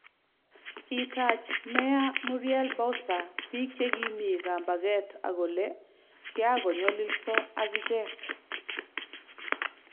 Kitaach Meya Muriel Bowser biik che Kimi kambaget akole kiagonyololoso ak ichek